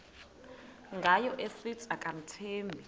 ngayo esithi akamthembi